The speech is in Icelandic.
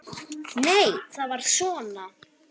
Nei, það var svona!